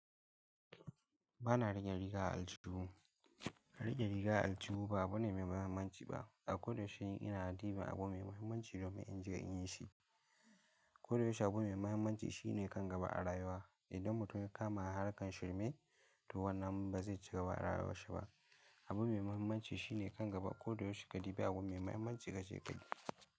Ba na rage riga a aljihu. A rike riga a aljihu ba abu ne mai mahimmanci ba. A koda yaushe ina a diba abu mai mahimmanci domin in jira in yi shi. Ko da yaushe abu mai mahimmanci shine kan gaba a rayuwa. Idan mutum ya kama harkar shirme, to wannan ba zai cika ba a rayuwar shi ba. Abu mai mahimmanci shine kan gaba. Ko da yaushe ka ɗibi abu mai mahimmanci kace keda.